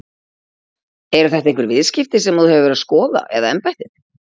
Eru þetta einhver viðskipti sem að þú hefur verið að skoða eða embættið?